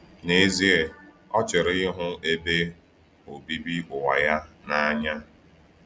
N’ezie, ọ chọrọ ịhụ ebe obibi ụwa ya n’anya.